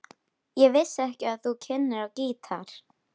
Ég vissi ekki að þú kynnir á gítar.